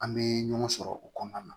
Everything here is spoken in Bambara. An bɛ ɲɔgɔn sɔrɔ o kɔnɔna na